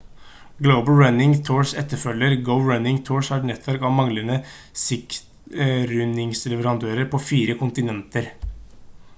global running tours etterfølger go running tours har et nettverk av mange sightrunningleverandører på fire kontinenter